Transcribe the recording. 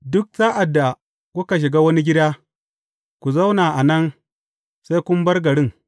Duk sa’ad da kuka shiga wani gida, ku zauna nan sai kun bar garin.